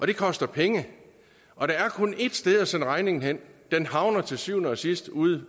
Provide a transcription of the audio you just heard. det koster penge og der er kun ét sted at sende regningen hen den havner til syvende og sidst ude